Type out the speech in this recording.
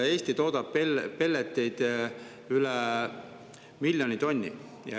Eesti toodab pelleteid üle miljoni tonni.